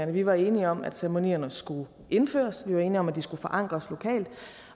vi var enige om at ceremonierne skulle indføres vi var enige om at de skulle forankres lokalt